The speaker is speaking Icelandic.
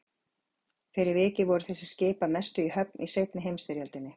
Fyrir vikið voru þessi skip að mestu í höfn í seinni heimsstyrjöldinni.